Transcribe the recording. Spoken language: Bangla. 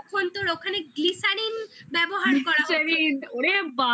তখন তোর ওখানে glycerine ব্যবহার করা হচ্ছে